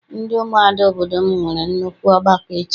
Ndị umuada obodo m nwere nnukwu ọgbakọ echi.